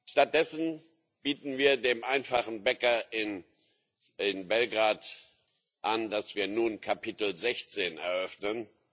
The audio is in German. Stattdessen bieten wir dem einfachen Bäcker in Belgrad an, dass wir nun Kapitel 16 eröffnen.